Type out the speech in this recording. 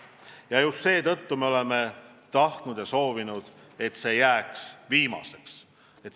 Ja just seetõttu oleme tahtnud ja soovinud, et see jääks viimaseks.